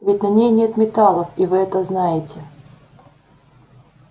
ведь на ней нет металлов и вы это знаете